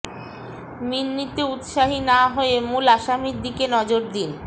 মিন্নিতে উৎসাহী না হয়ে মূল আসামির দিকে নজর দিন